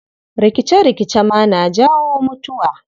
Rikice-rikice ma na jawo mutuwa.